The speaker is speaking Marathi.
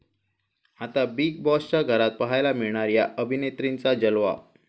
आता बिग बाॅसच्या घरात पाहायला मिळणार 'या' अभिनेत्रींचा जलवा